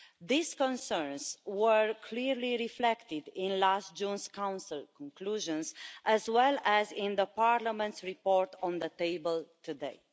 These concerns were clearly reflected in last June's Council conclusions, as well as in Parliament's report on the table today.